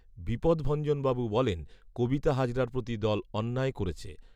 বিপদভঞ্জনবাবু বলেন কবিতা হাজরার প্রতি দল অন্যায় করেছে